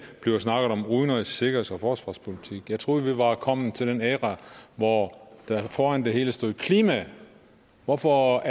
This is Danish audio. bliver snakket om udenrigs sikkerheds og forsvarspolitik jeg troede vi var kommet til den æra hvor der foran det hele stod klima hvorfor